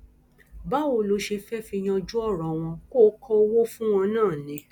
báwo ló ṣe fẹẹ fi yanjú ọrọ wọn kó kọ owó fún wọn náà ni